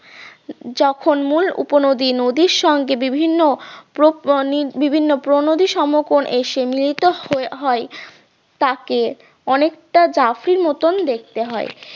যখন মূল উপনদী নদীর সঙ্গে বিভিন্ন প্রণোদি সমকোণ এসে মিলিত হয় তাকে অনেকটা জাফির মতন দেখতে হয়।